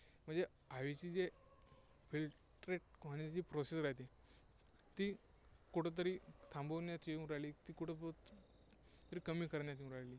म्हणजे हवेची जे filtrate म्हणजे जी procedure आहे ती, तो कुठेतरी थांबवण्यात येऊन राहिली, ती कुठेतरी कमी करण्यात येऊन राहिली.